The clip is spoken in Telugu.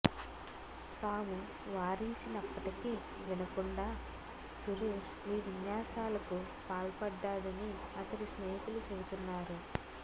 తాము వారించినప్పటికి వినకుండా సురేష్ ఈ విన్యాసాలకు పాల్పడ్డాడని అతడి స్నేహితులు చెబుతున్నారు